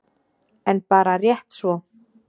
En bara rétt svo.